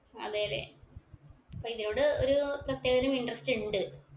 അതെ ല്ലേ അപ്പൊ ഇതിനോട് ഒരു പ്രത്യേക തരം interest ഇണ്ട്